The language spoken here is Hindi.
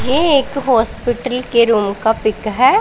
ये एक हॉस्पिटल के रूम का पिक है।